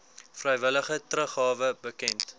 vrywillige teruggawe bekend